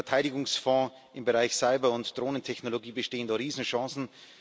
Mit dem Verteidigungsfonds im Bereich Cyber und Drohnentechnologie bestehen da Riesenchancen.